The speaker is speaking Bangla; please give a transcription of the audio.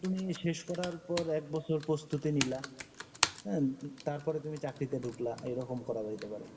তুমি শেষ করার পর এক বছর প্রস্তুতি নিলা, অ্যা, তারপরে তুমি চাকরিতে ঢুকলা, এরকম করা যাইতে পারে।